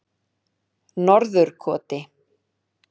Norðurkoti